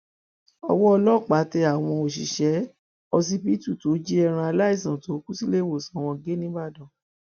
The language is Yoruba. ọwọ ọlọpàá tẹ àwọn òṣìṣẹ ọsibítù tó jí ẹran aláìsàn tó kù síléèwòsàn wọn gé nìbàdàn